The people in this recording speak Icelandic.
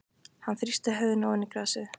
Hann þrýsti höfðinu ofan í grasið.